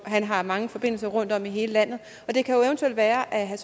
har mange forbindelse rundtom i hele landet og det kan jo eventuelt være at herre